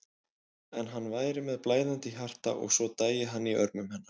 En hann væri með blæðandi hjarta og svo dæi hann í örmum hennar.